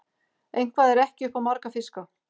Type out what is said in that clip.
Eitthvað er ekki upp á marga fiska